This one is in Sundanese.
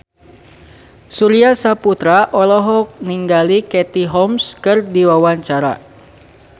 Surya Saputra olohok ningali Katie Holmes keur diwawancara